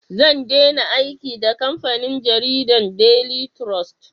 Zan dena aiki da kamfanin jaridan "daily trust"